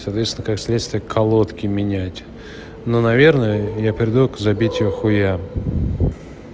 человечество как следствие колодки меняет но наверное я приду к забитию хуям